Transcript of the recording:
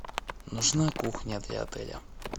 нужна кухня для отеля